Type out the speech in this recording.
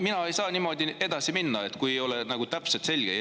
Mina ei saa niimoodi edasi minna, kui see ei ole täpselt selge.